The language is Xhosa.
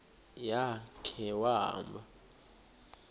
ya khe wahamba